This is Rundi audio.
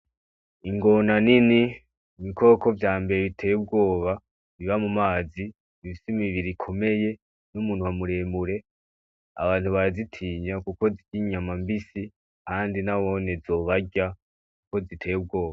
Ingona nini ibikoko vyambere biteye ubwoba biba mu mazi bifise imibiri ikomeye n'umunwa mureremure abantu barazitinya kuko zirya inyama mbisi kandi nabone zobarya kuko ziteye ubwoba.